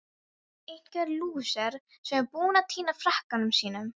Einhver lúser sem er búinn að týna frakkanum sínum!